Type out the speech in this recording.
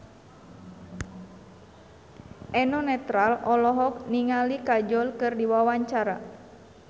Eno Netral olohok ningali Kajol keur diwawancara